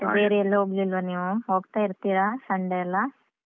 ಮತ್ತೆ ಬೇರೆಯೆಲ್ಲು ಹೋಗ್ಲಿಲ್ವಾ ನೀವು, ಹೋಗ್ತಾ ಇರ್ತೀರಾ Sunday ಎಲ್ಲ.